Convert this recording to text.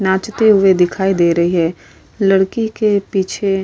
नाचते हुए दिखाई दे रही है। लड़की के पीछे --